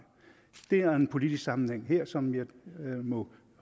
der er en politisk sammenhæng her som jeg må